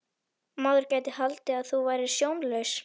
Maður gæti haldið að þú værir sjónlaus!